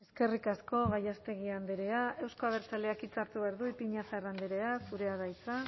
eskerrik asko gallástegui andrea euzko abertzaleak hitza hartu behar du ipiñazar andrea zurea da hitza